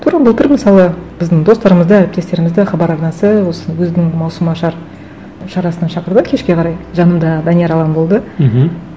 тура былтыр мысалы біздің достарымызды әріптестерімізді хабар арнасы осы өзінің маусымашар шарасына шақырды кешке қарай жанымда данияр алан болды мхм